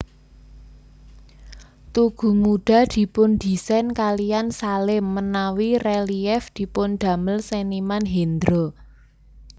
Tugu Muda dipun desain kaliyan Salim menawi Relief dipundamel Seniman Hendro